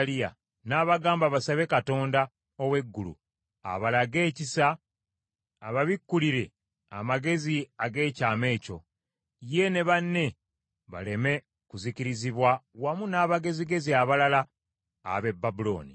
n’abagamba basabe Katonda ow’eggulu abalage ekisa ababikkulire amakulu ag’ekyama ekyo, ye ne banne baleme kuzikirizibwa wamu n’abagezigezi abalala ab’e Babulooni.